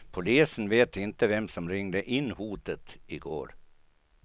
Polisen vet inte vem som ringde in hotet i går.